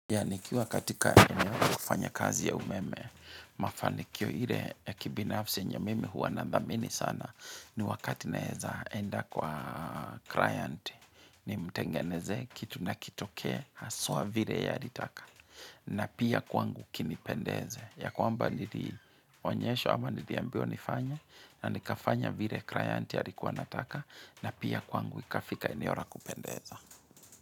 Ya nikiwa katika eneo kufanya kazi ya umeme, mafanikio ile ya kibinafsi enye mimi huwa nadhamini sana ni wakati naeza enda kwa client ni mtengenezee kitu na kitoke haswa vile ye alitaka na pia kwangu kinipendeze ya kwamba nili onyesho ama niliambiwa nifanye na nikafanya vile client alikuwa anataka na pia kwangu ikafika eneo la kupendeza.